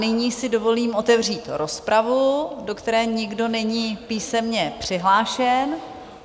Nyní si dovolím otevřít rozpravu, do které nikdo není písemně přihlášen.